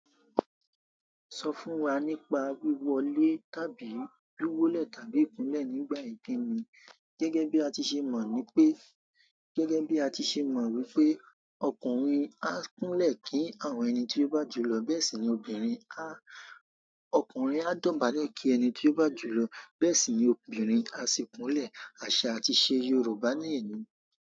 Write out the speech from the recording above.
Sọ fún wa nípa wíwọlé tàbí lúwọ́lẹ̀ tàbí ìkúnlẹ̀ nígbà ìkíni. Gẹ́gẹ́ bí a ti se gẹ́gẹ́ bí a ti se mọ̀ wípé ọkùnrin á kúnlẹ̀ kí àwọn ẹni tí ó bá jù lọ, bẹ́ẹ̀ sì ni obìnrin a-- ọkùnrin á dọ̀bálẹ̀ kí ẹni tí ó bá jù lọ, bẹ́ẹ̀ sì ni obìnrin á si kúnlẹ̀. Àṣà àti ìse Yorùbá nẹ ní.